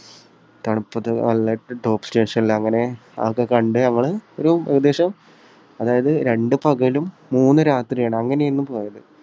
തണുപ്പത്ത് നല്ല ടോപ്പ് സ്റ്റേഷനിൽ അങ്ങനെ അതൊക്കെ കണ്ടു ഞങ്ങൾ ഒരു ഏകദേശം അതായത് രണ്ടു പകലും മൂന്നു രാത്രിയുമാണ്. അങ്ങനെയായിരുന്നു പോയത്.